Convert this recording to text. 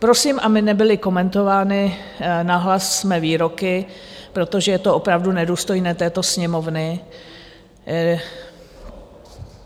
Prosím, aby nebyly komentovány nahlas mé výroky, protože to opravdu nedůstojné této Sněmovny.